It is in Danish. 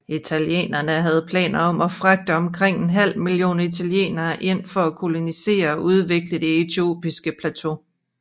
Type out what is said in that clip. Italienerne havde planer om at fragte omkring en halv million italienere ind for at kolonisere og udvikle det etiopiske plateau